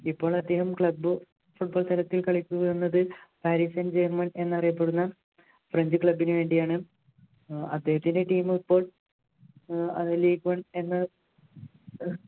ഇപ്പോൾ അദ്ദേഹം Club football തലത്തിൽ കളിക്കും എന്നത് പാരിസൺ ജർമൻ എന്നറിയപ്പെടുന്ന French club നു വേണ്ടിയാണ് അദ്ദേഹത്തിൻ്റെ team ഇപ്പോൾ അതിൽ ഇപ്പോൾ എന്ന